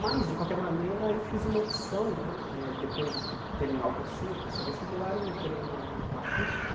Mas, de qualquer maneira, eu fiz uma opção né eh, depois de terminar o cursinho e prestar vestibular, eu entrei na na Puc por